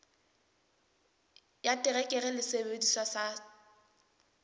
ya terekere le sesebediswa sa